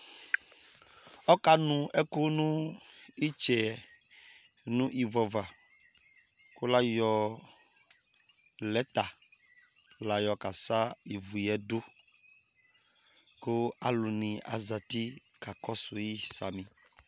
ɔka nu ɛkò no itsɛ no ivu ava kò la yɔ lɛta la yɔ ka sa ivu yɛ do kò alòni azati ka kɔsu yi sami